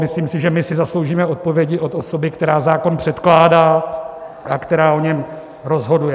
Myslím si, že my si zasloužíme odpovědi od osoby, která zákon předkládá a která o něm rozhoduje.